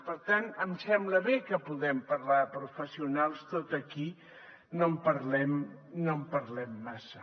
per tant em sembla bé que puguem parlar de professionals tot i que aquí no en parlem massa